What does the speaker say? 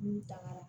N'u tagara